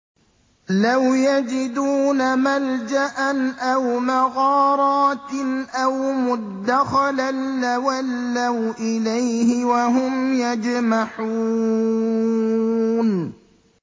لَوْ يَجِدُونَ مَلْجَأً أَوْ مَغَارَاتٍ أَوْ مُدَّخَلًا لَّوَلَّوْا إِلَيْهِ وَهُمْ يَجْمَحُونَ